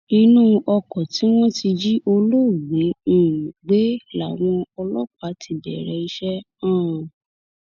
inú oko tí wọn ti jí olóògbé um gbé làwọn ọlọpàá ti bẹrẹ iṣẹ um